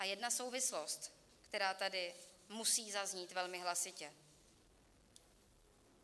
A jedna souvislost, která tady musí zaznít velmi hlasitě.